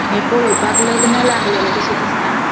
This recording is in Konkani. ये पोळोवपाक लग्न लागलेले कशे दिसता.